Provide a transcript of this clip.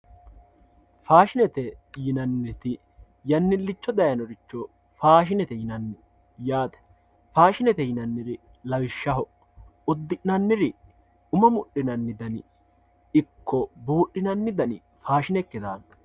Faadhinete yinaniti yanillichobdayinoricho faashinete yinanni yaate, faashinete yinaniri lawishaho udi'naniri, umo mudhinani dani ikko buudhinanni dani faashine ikke daano